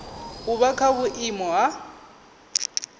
u vha kha vhuiimo ha